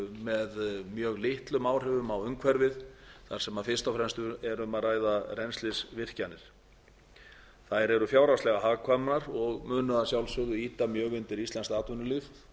með mjög litlum áhrifum á umhverfið þar sem fyrst og fremst er um að ræða rennslisvirkjanir þær eru fjárhagslega hagkvæmar og munu að sjálfsögðu ýta mjög undir íslenskt atvinnulíf